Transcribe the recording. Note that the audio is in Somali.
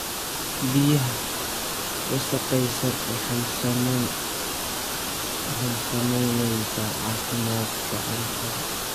Biyaha wasakhaysan waxay saameeyaan caafimaadka cuntada.